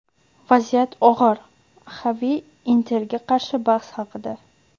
Vaziyat og‘ir", — Xavi "Inter"ga qarshi bahs haqida;.